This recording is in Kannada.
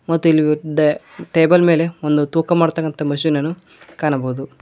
ಮತ್ತೆ ಇಲ್ಲಿ ಒಂದು ಟೇಬಲ್ ಮೇಲೆ ಒಂದು ತೂಕ ಮಾಡ್ತಾಕಂತ ಮಷೀನ್ ಅನ್ನು ಕಾಣಬಹುದು.